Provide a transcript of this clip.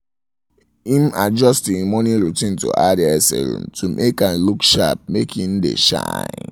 im im adjust im morning routine to add hair serum to make am look sharpmake im dae shine